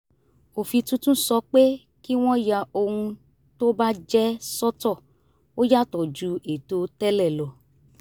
òfin tuntun sọ pé kí wọ́n ya ohun tó bà jẹ́ sọ́tọ̀ ó yàtọ̀ ju ètò tẹ́lẹ̀ lọ